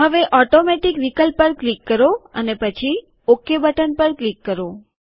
હવે ઓટોમેટીક વિકલ્પ પર ક્લિક કરો અને પછી ઓકે બટન પર ક્લિક કરો